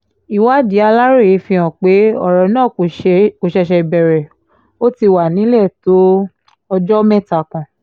ìwádìí aláròye fìhàn pé ọ̀rọ̀ náà kò ṣẹ̀ṣẹ̀ bẹ̀rẹ̀ ó ti wà nílẹ̀ tó ọjọ́ mẹ́ta kan